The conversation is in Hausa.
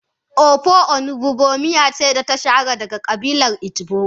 Ofe onugbu miya ce ta shahara daga kabilar igbo.